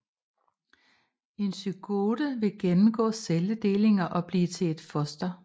En zygote vil gennemgå celledelinger og blive til et foster